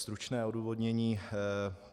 Stručné odůvodnění.